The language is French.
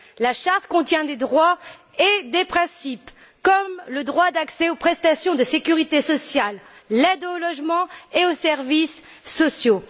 La charte contient des droits et des principes, comme le droit d'accès aux prestations de sécurité sociale, à l'aide au logement et aux services sociaux.